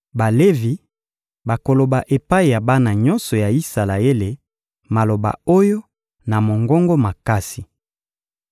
Balevi bakoloba epai ya bana nyonso ya Isalaele maloba oyo na mongongo makasi: